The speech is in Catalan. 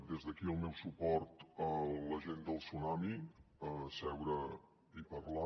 des d’aquí el meu suport a la gent del tsunami a seure i parlar